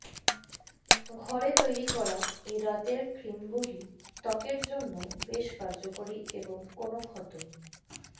ঘরে তৈরী করা এই রাতের ক্রীমগুলি ত্বকের জন্য বেশ কার্যকরি এবং কোনো ক্ষত